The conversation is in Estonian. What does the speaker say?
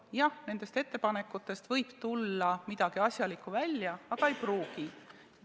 Jah, nendest ettepanekutest võib midagi asjalikku välja tulla, aga ei pruugi.